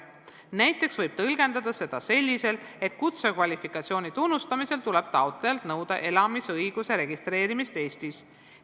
Näiteks võib tõlgendada seda selliselt, et kutsekvalifikatsiooni tunnustamisel tuleb taotlejalt nõuda elamisõiguse registreerimist Eestis.